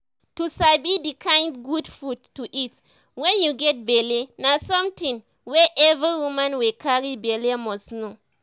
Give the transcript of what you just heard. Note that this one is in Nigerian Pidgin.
to sabi the kind good food to eat wen u get belle na something wey every woman wey carry belle must know